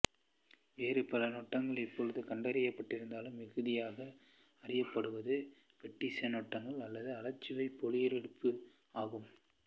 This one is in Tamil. வேறு பல நெட்டாங்குகள் இப்போது கண்டறியப்பட்டிருந்தாலும் மிகுதியாக அறியப்படுவது பேட்ஃசின் நெட்டாங்கு அல்லது அழகச்சே போலியொப்புரு ஆகும்